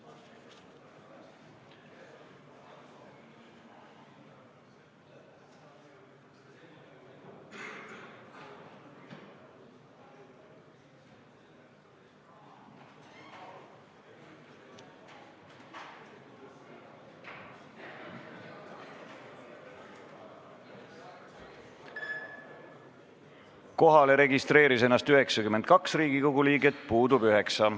Kohaloleku kontroll Kohalolijaks registreeris ennast 92 Riigikogu liiget, puudub 9.